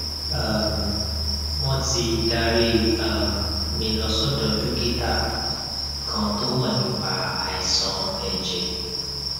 um wọn ti darí um mi lọ sọdọ dókítà kan tó mọ nípa àìsàn ẹjẹ um